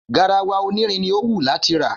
Garawa onírin ni ó wú láti rà.